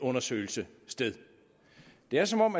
undersøgelse sted det er som om